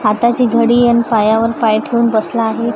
हाताची घडी आणि पायावर पाय ठेवून बसला आहे.